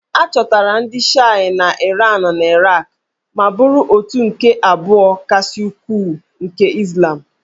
A chọtara ndị Shịa na Iran na Iraq ma bụrụ òtù nke abụọ kasị ukwuu nke Izlam